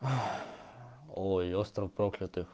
ой остров проклятых